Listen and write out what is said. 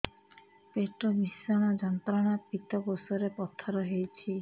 ପେଟ ଭୀଷଣ ଯନ୍ତ୍ରଣା ପିତକୋଷ ରେ ପଥର ହେଇଚି